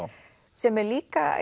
sem er líka